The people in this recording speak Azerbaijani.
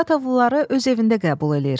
Saratovluları öz evində qəbul eləyir.